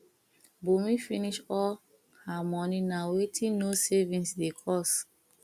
bunmi finish all her money na wetin no saving dey cause